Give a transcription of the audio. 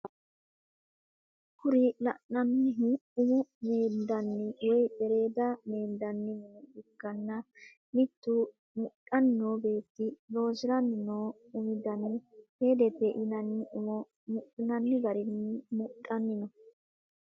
Kuri lananihu umo mendanni woyi eredda medhinanni mine ikana mittu mudhani noo betti loosiranni noo umu daanni fedete yinanni umo mudhinanni garrini mudhanni no.